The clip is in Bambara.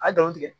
A dɔn tigɛ